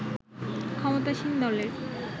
ক্ষমতাসীন দলের